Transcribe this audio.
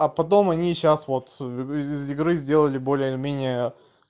а потом они сейчас вот из игры сделали более или менее